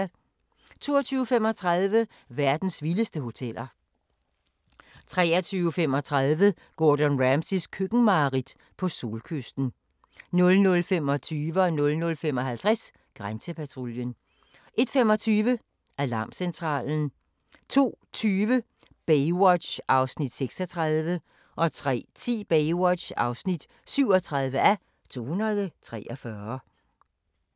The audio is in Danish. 22:35: Verdens vildeste hoteller 23:35: Gordon Ramsays køkkenmareridt - på solkysten 00:25: Grænsepatruljen 00:55: Grænsepatruljen 01:25: Alarmcentralen 02:20: Baywatch (36:243) 03:10: Baywatch (37:243)